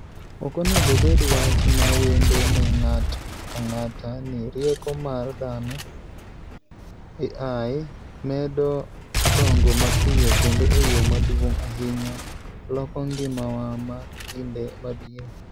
Ok onego obed wach ma wendo ne ng'ato ang'ata ni rieko mar dhano (AI) medo dongo mapiyo kendo e yo maduong' ahinya loko ngimawa ma kinde mabiro.